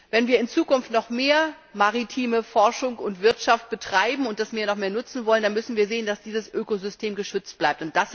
Wenn wir in Zukunft noch mehr maritime Forschung und Wirtschaft betreiben und das Meer noch mehr nutzen wollen, dann müssen wir sehen, dass dieses Ökosystem geschützt bleibt.